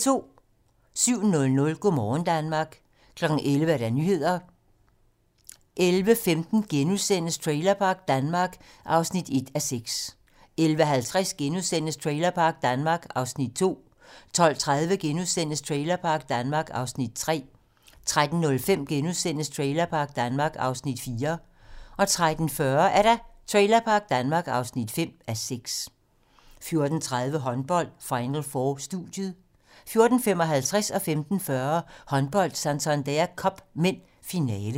07:00: Go' morgen Danmark 11:00: Nyhederne 11:15: Trailerpark Danmark (1:6)* 11:50: Trailerpark Danmark (2:6)* 12:30: Trailerpark Danmark (3:6)* 13:05: Trailerpark Danmark (4:6)* 13:40: Trailerpark Danmark (5:6) 14:30: Håndbold: Final 4 - studiet 14:55: Håndbold: Santander Cup (m) - finale 15:40: Håndbold: Santander Cup (m) - finale